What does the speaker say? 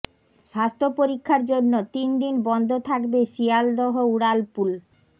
স্বাস্থ্য পরীক্ষার জন্য তিন দিন বন্ধ থাকবে শিয়ালদহ উড়ালপুল